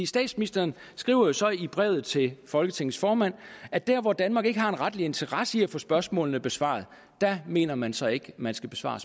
statsministeren skriver jo så i brevet til folketingets formand at der hvor danmark ikke har en retlig interesse i at få spørgsmålene besvaret mener man så ikke at man skal besvare